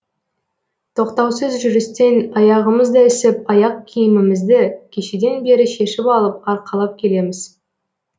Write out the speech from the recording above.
тоқтаусыз жүрістен аяғымыз да ісіп аяқ киімімізді кешеден бері шешіп алып арқалап келеміз